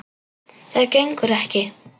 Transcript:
Það gengur ekki!